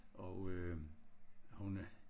Og øh hun